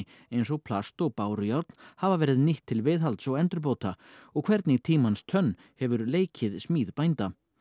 eins og plast og bárujárn hafa verið nýtt til viðhalds og endurbóta og hvernig tímans tönn hefur leikið smíð bænda